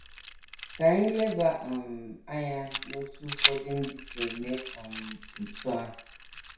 Ka anyị leba um anya n’otú ụfọdụ ndị si eme um otú ahụ.